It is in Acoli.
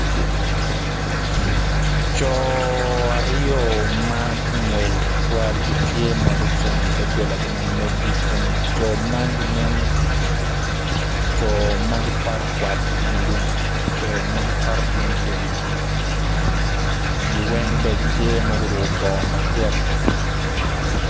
Co aryo ma gungwel tutwal gitye ma gucung idogolagi ma meggi kun co man ginen co ma gikwayo kwat idi lum co ma co ma gikwato gin lum gin weng bene tye ma guruko bongo macek.